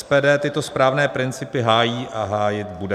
SPD tyto správné principy hájí a hájit bude.